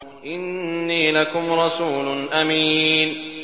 إِنِّي لَكُمْ رَسُولٌ أَمِينٌ